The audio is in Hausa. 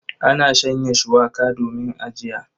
Ana shanya shuwaka domin ajiya.